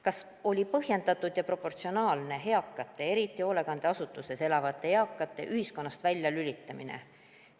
Kas oli põhjendatud ja proportsionaalne eakate, eriti hoolekandeasutuses elavate eakate ühiskonnast väljalülitamine?